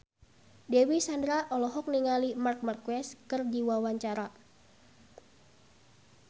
Dewi Sandra olohok ningali Marc Marquez keur diwawancara